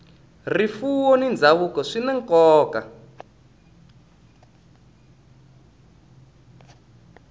rifuwo na ndhavuko swi na nkoka